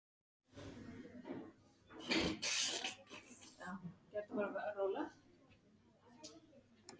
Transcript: Gat ekki hugsað sér að hún sæi hvernig allt væri.